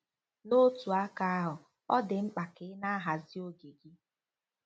N'otu aka ahụ, ọ dị mkpa ka ị na-ahazi oge gị.